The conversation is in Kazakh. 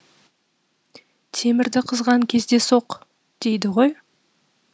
темірді қызған кезде соқ дейді ғой